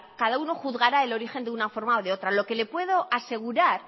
cada uno juzgará el origen de una forma o de otra lo que le puedo asegurar